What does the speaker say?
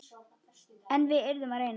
En við yrðum að reyna.